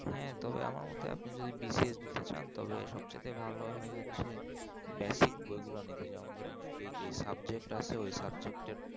হ্যাঁ তবে আমার মতে আবার BCS দিতে চান তবে সব চাইতে ভালো হয় হচ্ছে basic বই গুলো নিবে ধরেন সে যে subject আসে ওই যে subject এর